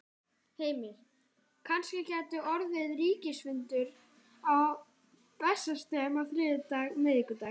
Heimir: Gæti kannski orðið ríkisráðsfundur á Bessastöðum á þriðjudag, miðvikudag?